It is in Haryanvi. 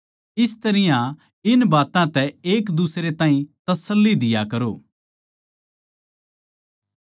इस तरियां इन बात्तां तै एकदुसरे ताहीं तसल्ली दिया करो